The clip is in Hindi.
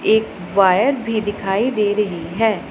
एक वायर भी दिखाई दे रही है।